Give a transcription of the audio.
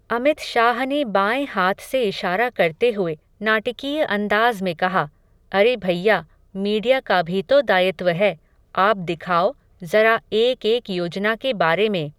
अमित शाह ने बाएं हाथ से इशारा करते हुए, नाटकीय अंदाज़ में कहा, अरे भइया, मीडिया का भी तो दायित्व है, आप दिखाओ, ज़रा एक एक योजना के बारे में.